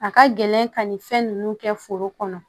A ka gɛlɛn ka nin fɛn ninnu kɛ foro kɔnɔ